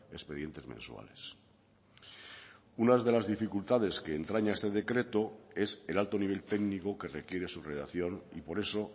expedientes mensuales unas de las dificultades que entraña este decreto es el alto nivel técnico que requiere su redacción y por eso